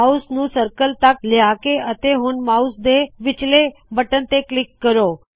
mouse ਨੂੰ circle ਤਕ ਲਿਆਹੋ ਅਤੇ ਹੁਣ ਮਾਉਸ ਦੇ ਵਿੱਚਲੇ ਬਟਨ ਤੇ ਕਲਿੱਕ ਕਰੋ